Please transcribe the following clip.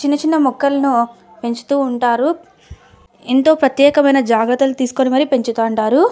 చిన్న చిన్న మొక్కల్ను పెంచుతూ ఉంటారు ఏంటో ప్రత్యకమైన జాగ్రత్తలు తీస్కొని మరి పెంచుతూ ఉంటారు.